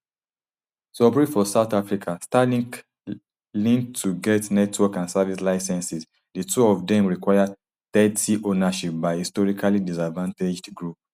to operate for south africa starlink need to get network and service licences di two of dem require thirty ownership by historically disadvantaged groups